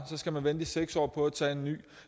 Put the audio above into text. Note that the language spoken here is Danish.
skal vente i seks år på at tage en ny